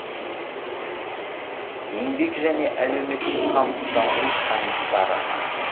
еңбек және әлеуметтік қамсыздандыру комиссары